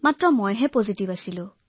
মই পজিটিভ আছিলো